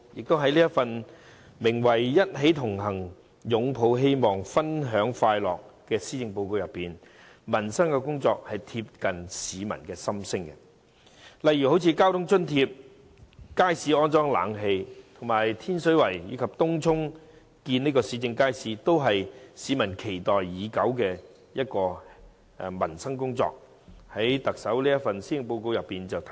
在這份題為"一起同行，擁抱希望，分享快樂"的施政報告中，民生工作貼近市民的心聲，例如交通津貼、街市安裝冷氣、天水圍及東涌興建市政街市，這些市民期待已久的民生工作，均在特首這份施政報告得以體現。